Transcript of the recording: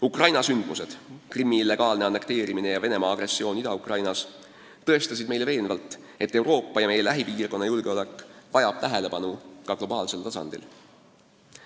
Ukraina sündmused – Krimmi illegaalne annekteerimine ja Venemaa agressioon Ida-Ukrainas – on meile veenvalt tõestanud, et kogu Euroopa ja meie lähipiirkonna julgeolek vajab tähelepanu ka globaalsel tasandil.